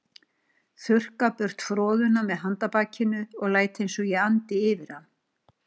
Þurrka burt froðuna með handarbakinu og læt einsog ég andi fyrir hann.